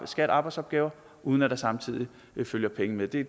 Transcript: skat arbejdsopgaver uden at der samtidig følger penge med det